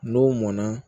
N'o mɔnna